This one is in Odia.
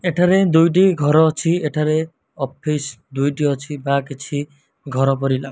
ଏଠାରେ ଦୁଇଟି ଘରଅଛି ଏଠାରେ ଅଫିସ ଦୁଇଟି ଅଛି ଵା କିଛି ଘର ପରିଲାଗୁ --